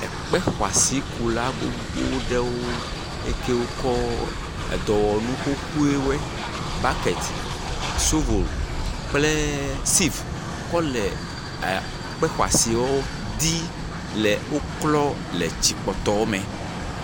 Kpexɔasikula gbogbo ɖewo. Ekewo kɔ edɔwɔnu xoxoewɔe. Bɔketi, shovel kple sivu kɔ le e ekpexɔsiwo di le woklɔ le tsikpɔtɔwo me.